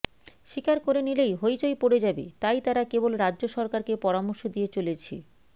স্বীকার করে নিলেই হইচই পড়ে যাবে তাই তারা কেবল রাজ্য সরকারকে পরামর্শ দিয়ে চলেছে